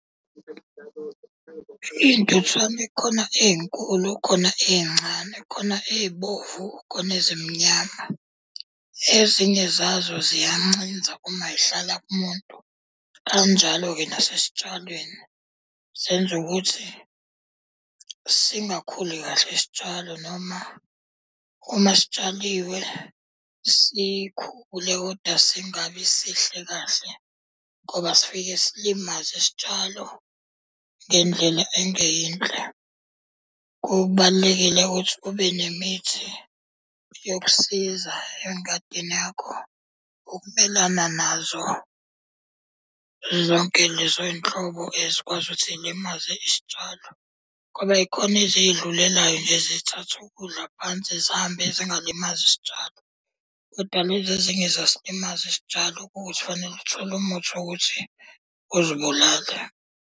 Iy'ntuthwane khona ey'nkulu khona ey'ncane, khona ey'bovu khona ezimnyama. Ezinye zazo ziyancinza uma zihlala kumuntu. Kanjalo-ke nasesitshalweni, zenza ukuthi singakhuli kahle isitshalo noma uma sitshaliwe sikhule kodwa singabi sihle kahle ngoba sifike silimaze isitshalo ngendlela engeyinhle. Kubalulekile ukuthi ube nemithi yokusiza engadini yakho ukumelana nazo zonke lezo y'nhlobo ezikwazi ukuthi yilimaze isitshalo. Ngoba y'khona ezidlulelayo nje zithathe ukudla phansi zihambe zingalimazi isitshalo. Kodwa lezi ezinye ziyasilimaza isitshalo ukuthi fanele uthole umuthi wokuthi uzibulale.